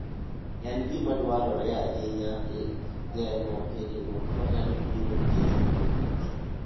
En gima dwarore ahinya e geng'o hinyruok manyalo biro nikech wuoth.